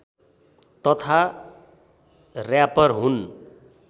तथा र्‍यापर हुन्